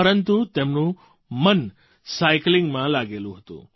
પરંતુ તેમનું મન સાઇકલિંગમાં લાગેલું હતું